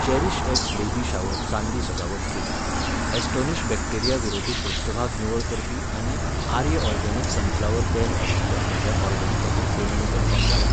CherishX baby shower चांदी सजावट kit, Astonish bacteria विरोधी पृष्ठभाग निवळ करपी आनी आर्य ऑरगॅनिक सनफ्लावर तेल आशिल्ल्या म्हज्या ऑर्डरी खातीर पेमेंट कन्फर्म जाला ?